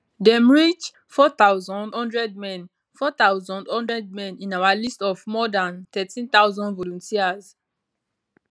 dem reach 4100 men 4100 men in our list of more dan 13000 volunteers